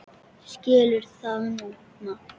Skilur það núna.